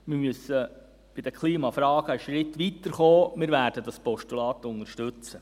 Wir müssen bei den Klimafragen einen Schritt weiterkommen, wir werden das Postulat unterstützen.